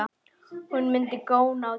Hún mundi góna á dömuna.